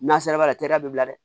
N'a sera b'a la teliya bɛ bila dɛ